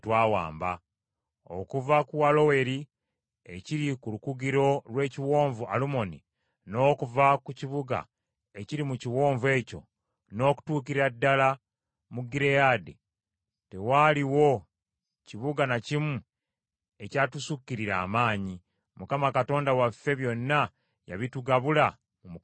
Okuva ku Aloweri ekiri ku lukugiro lw’Ekiwonvu Alumoni, n’okuva ku kibuga ekiri mu kiwonvu ekyo, n’okutuukira ddala mu Gireyaadi, tewaaliwo kibuga na kimu ekyatusukkirira amaanyi. Mukama Katonda waffe byonna yabitugabula mu mukono gwaffe.